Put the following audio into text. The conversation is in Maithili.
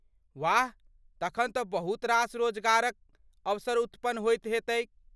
वाह! तखन तँ बहुत रास रोजगारक अवसर उत्पन्न होइत हेतैक।